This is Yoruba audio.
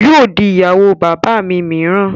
Yóò di ìyàwó bàbá mi mìíràn